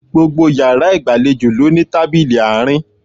Gbogbo yàrá ìgbàlejò ló ní tábìlì àárín